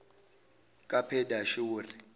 kaphedashuri